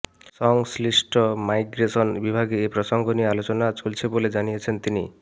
সংশ্লিষ্ট মাইগ্রেশন বিভাগে এই প্রসঙ্গ নিয়ে আলোচনা চলছে বলে জানিয়েছেন তিনি